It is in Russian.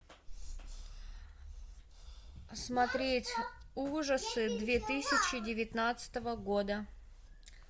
смотреть ужасы две тысячи девятнадцатого года